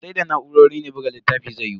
Sai da na'urori ne buga littafi zai yiwu.